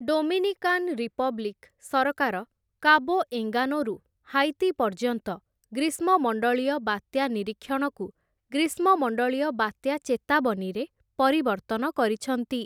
Dominican Republic ସରକାର Cabo ଏଙ୍ଗାନୋରୁ Haiti ପର୍ଯ୍ୟନ୍ତ ଗ୍ରୀଷ୍ମମଣ୍ଡଳୀୟ ବାତ୍ୟା ନିରୀକ୍ଷଣକୁ ଗ୍ରୀଷ୍ମମଣ୍ଡଳୀୟ ବାତ୍ୟା ଚେତାବନୀରେ ପରିବର୍ତ୍ତନ କରିଛନ୍ତି ।